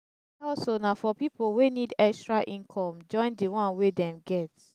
hustle na for pipo wey need extra income join di one wey dem get